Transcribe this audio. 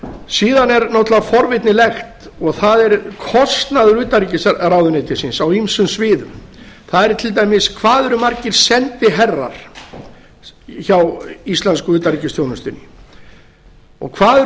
síðan er náttúrlega forvitnilegt og það er kostnaður utanríkisráðuneytisins á ýmsum sviðum það er til dæmis hvað eru margir sendiherrar hjá íslensku utanríkisþjónustunni hvað eru